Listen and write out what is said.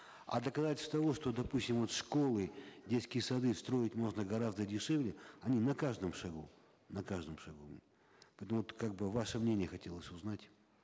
а доказательств того что допустим вот школы детские сады строить можно гораздо дешевле они на каждом шагу на каждом шагу поэтому вот как бы ваше мнение хотелось узнать